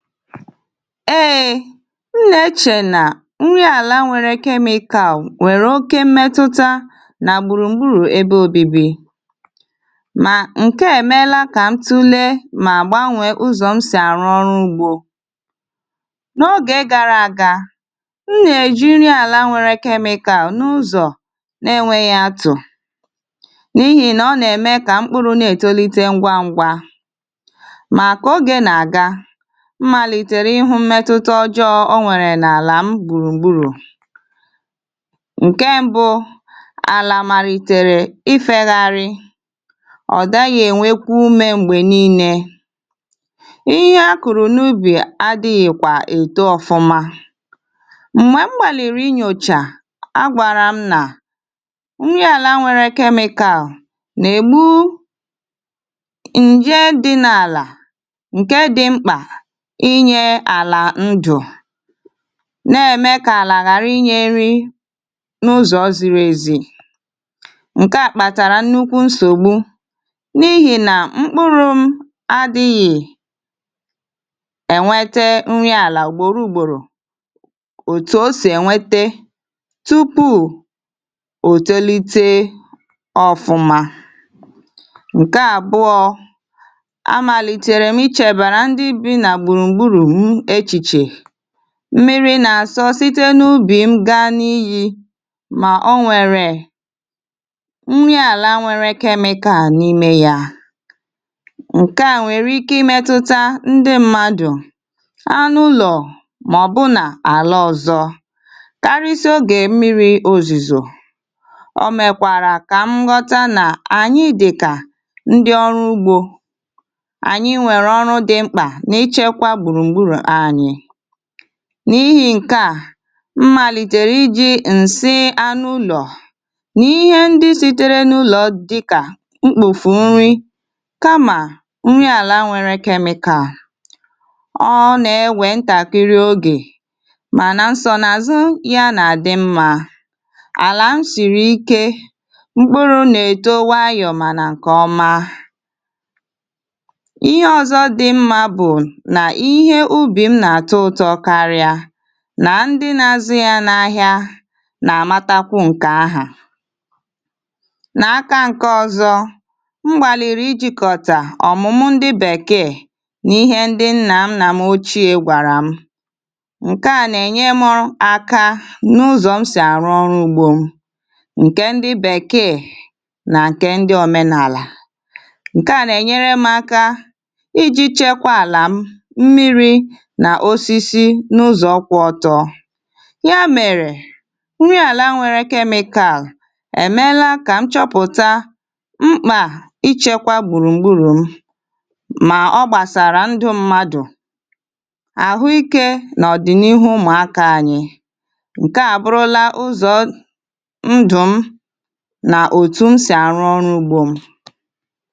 Ee m na-eche na nri ala nwere chemical nwere oké mmetụta na gburugburu ebe obibi. Ma nke a e meela ka m tụlee ma gbanwee ụzọ m si arụ ọrụ ugbo. N'oge gara aga, m na-eji nri ala nwere chemical n'ụzọ na-enweghị atụ n'ihi na ọ na-eme ka mkpụrụ na-etolite ngwá ngwa. Mq ka oge na-aga, m malitere ịhụ mmetụta ọjọọ o nwere n'ala m gburugburu. Nke mbụ, ala malitere ifelarị, ọ daghị enwekwa ume mgbe niile. Ihe a kụrụ n'ubi adịghị kwa eto ọfụma. Mgbe m gbalịrị inyocha, a gwara m na nri ala nwere chemical na-egbu nje dị n'ala nke dị mkpa inye ala ndụ na-eme ka ala ghara inye nri n'ụzọ ziri ezi. Nke a kpatara nnukwu nsogbu n'ihi na mkpụrụ m adịghị e nwete nri ala ugboro ugboro otu o si enwete tupu o tolite ọfụma. Nke abụọ, a malitere m ichebara ndị bi na gburugburu m echiche. Mmiri na-asọ site n'ubi m gaa n'iyí ma o nwere nri ala nwere chemical n'ime ya. Nke a nwere ike imetụta ndị mmadụ, anụ ụlọ maọbụ na ala ọzọ. Karịsịa oge mmiri ozuzo, o mekwara ka m ghọta na anyị dị ka ndị ọrụ ugbo. Anyị nwere ọrụ dị mkpa n'ichekwa gburugburu anyị. N'ihi nke a, m malitere iji nsị anụ ụlọ na ihe ndị sitere n'ụlọ dịka mkpofu nri kama nri ala nwere chemical. Ọ na-ewe ntakịrị oge mana nsonaazụ ya. Ala m siri ike. Mkpụrụ na-eto nwayọọ mana nke ọma. Ihe ọzọ dị mma bụ na ihe ubi m na-atọ ụtọ karịa na ndị na-azụ ya n'ahịa na-amatakwu nkke ahụ. N'aka nke ọzọ, m gbalịrị ijikọta ọmụmụ ndị bekee na ihe ndị nna nna m ochie gwara m. Nke a na-enyere m aka n'ụzọ m si arụ ọrụ ugbo nke ndị bekee na nke ndị omenala. Nke a na-enyere m aka iji chekwaa ala m, mmiri na osisi n'ụzọ kwụ ọtọ. Ya mere, nri ala nwere chemical e meela ka m chọpụta mkpa ichekwa gburugburu m ma ọ ndụ mmadụ, ahụike na ọdịnihu ụmụaka anyị. Nke a abụrụla ụzọ ndụ m na otu m si arụ ọrụ ugbo m.